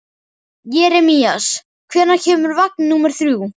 Jeremías, hvenær kemur vagn númer þrjú?